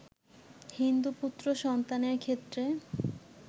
হিন্দু পুত্র সন্তানের ক্ষেত্রে